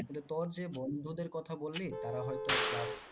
কিন্তু তোর যে বন্ধুদের কথা বললি তারা হয়তো class